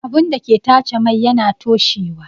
Abun dake tace mai yana toshewa